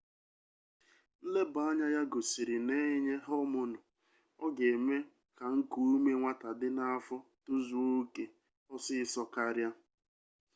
nlebaanya ya gosiri na e nye homonu ọ ga-eme ka nkuume nwata dị n'afọ tozuo oke ọsịsọ karịa